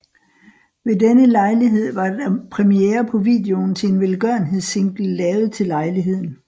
Ved denne lejlighed var der premiere på videoen til en velgørenhedssingle lavet til lejligheden